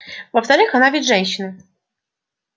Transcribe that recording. во-вторых она ведь женщина